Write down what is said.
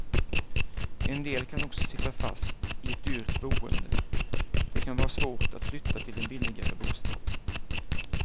En del kan också sitta fast i ett dyrt boende, det kan vara svårt att flytta till en billigare bostad.